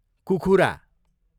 कुखुरा